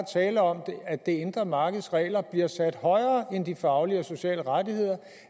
er tale om at det indre markeds regler bliver sat højere end de faglige og sociale rettigheder